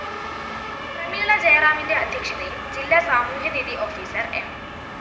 പ്രമീളജയറാമിന്റെ അധ്യക്ഷതയില്‍ ജില്ലാ സാമൂഹ്യനീതീ ഓഫീസർ എം